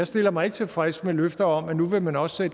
stiller mig tilfreds med løfter om at nu vil man også